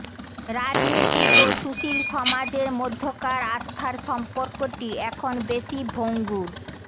রাজনীতিক ও সুশীল সমাজের মধ্যকার আস্থার সম্পর্কটি এখন বেশি ভঙ্গুর